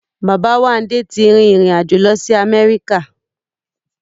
Bàbáwándé ti rí ìrìn-àjò lọ sí Amẹ́ríkà